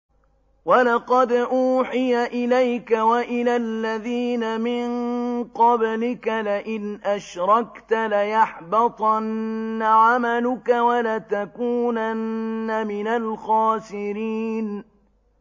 وَلَقَدْ أُوحِيَ إِلَيْكَ وَإِلَى الَّذِينَ مِن قَبْلِكَ لَئِنْ أَشْرَكْتَ لَيَحْبَطَنَّ عَمَلُكَ وَلَتَكُونَنَّ مِنَ الْخَاسِرِينَ